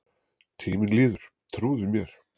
Tíminn líður, trúðu mér.